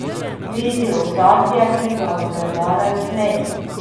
Vidi ozadje, ki ga gledalec ne.